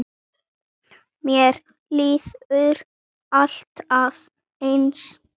Mér líður alltaf eins.